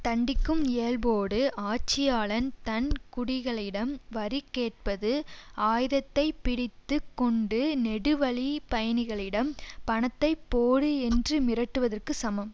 தண்டிக்கும் இயல்போடு ஆட்சியாளன் தன் குடிகளிடம் வரி கேட்பது ஆயுதத்தைப் பிடித்து கொண்டு நெடுவழிப் பயணிகளிடம் பணத்தை போடு என்று மிரட்டுவதற்குச் சமம்